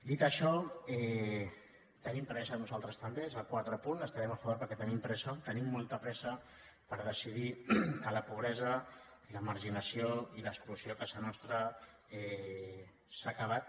dit això tenim pressa nosaltres també és el quart apunt hi estarem a favor perquè tenim pressa tenim molta pressa per decidir que la pobresa i la marginació i l’exclusió a casa nostra s’han acabat